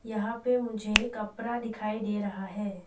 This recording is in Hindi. यहां पे मुझे कपड़ा दिखाई दे रहा है।